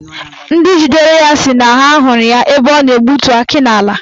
Ndị jidere ya si na ha hụrụ ya ebe ọ na-egbutu akị n'ala ha.